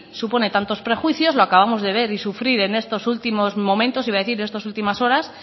supone tantos prejuicios lo acabamos de ver y sufrir en estos últimos momentos iba a decir estas últimas horas